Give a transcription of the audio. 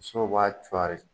Sow b'a cuari